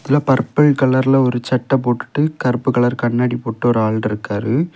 பருப்பில் கலர்ல ஒரு சட்ட போட்டுட்டு கருப்பு கலர் கண்ணாடி போட்டு ஒரு ஆள் இருக்காரு.